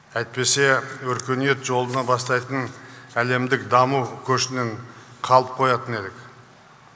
әйтпесе өркениет жолына бастайтын әлемдік даму көшінің қалып қоятын едік